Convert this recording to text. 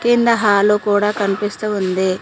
కింద హాలు కూడా కనిపిస్తూ ఉంది.